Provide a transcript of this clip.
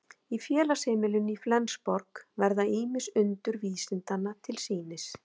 Í félagsheimilinu Fellsborg verða ýmis undur vísindanna til sýnis.